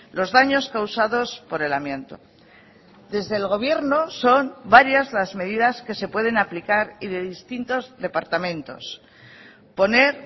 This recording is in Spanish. los daños causados por el amianto desde el gobierno son varias las medidas que se pueden aplicar y de distintos departamentos poner